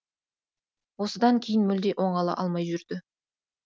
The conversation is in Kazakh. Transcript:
осыдан кейін мүлде оңала алмай жүрді